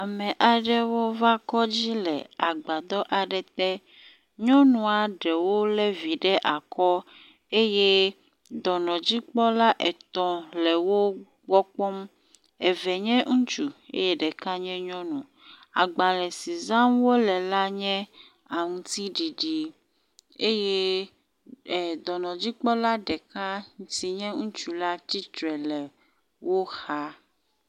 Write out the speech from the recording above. Ame aɖewo va kɔdzi le agbadɔ aɖe te. Nyɔnua eɖewo le vi ɖe akɔ eye dɔnɔdzikpɔla etɔ̃ le wogbɔ kpɔm. eve nye ŋutsu eye ɖeka nye nyɔnu. Agbale si zam wo le la nye aŋtsiɖiɖi eye e dɔnɔdzikpɔla ɖeka si nye ŋutsu la tsitre le wo xa.